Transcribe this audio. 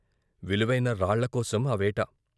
విలువైన రాళ్ళ కోసం ఆ వేట.